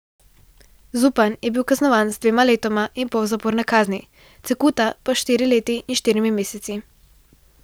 Zupan je bil kaznovan z dvema letoma in pol zaporne kazni, Cekuta pa s štiri leti in štirimi meseci.